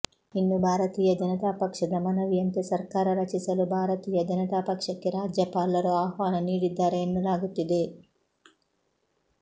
ಇನ್ನು ಭಾರತೀಯ ಜನತಾ ಪಕ್ಷದ ಮನವಿಯಂತೆ ಸರ್ಕಾರ ರಚಿಸಲು ಭಾರತೀಯ ಜನತಾ ಪಕ್ಷಕ್ಕೆ ರಾಜ್ಯಪಾಲರು ಆಹ್ವಾನ ನೀಡಿದ್ದಾರೆ ಎನ್ನಲಾಗುತ್ತಿದೆ